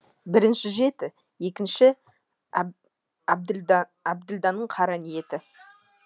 бірінші жеті екінші әбділданың қара ниеті